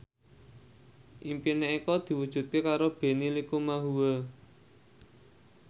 impine Eko diwujudke karo Benny Likumahua